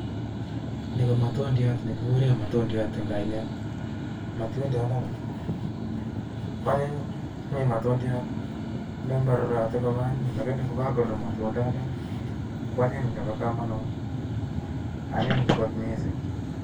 ni ko matundiat ne kikurei majtundiat eng kainet. Matundiat ndani, koanyin mi matundiat ne ngomarurot komaanyiny lakiini ngo kakurur matuandiani koanyiny nebo kamanganut ,anyin missing.